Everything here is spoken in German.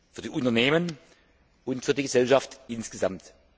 für die Unternehmen und für die Gesellschaft insgesamt.